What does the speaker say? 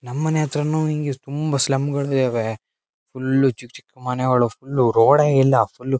ನಮ್ಮನೆ ಹತ್ರನು ಹಿಂಗೇ ತುಂಬಾ ಸ್ಲಂಗಳು ಇದಾವೆ ಫುಲ್ಲು ಚಿಕ್ ಚಿಕ್ ಮನೆಗಳು ಫುಲ್ಲು ರೋಡ್ ಯಿಲ್ಲಾ ಫುಲ್ಲು --